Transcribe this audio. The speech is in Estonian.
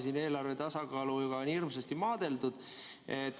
Siin on eelarve tasakaaluga hirmsasti maadeldud.